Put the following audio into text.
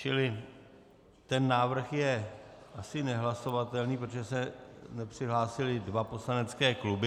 Čili ten návrh je asi nehlasovatelný, protože se nepřihlásily dva poslanecké kluby.